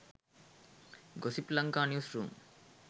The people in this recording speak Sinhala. gossip lanka news room